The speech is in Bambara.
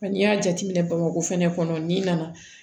Nka n'i y'a jateminɛ bamakɔ fɛnɛ kɔnɔ ni nana